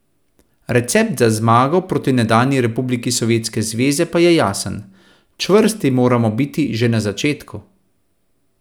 Recept za zmago proti nekdanji republiki Sovjetske zveze pa je jasen: "Čvrsti moramo biti že na začetku.